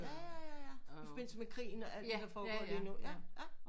Ja ja ja i forbindelse med krigen og alt det der foregår lige nu ja ja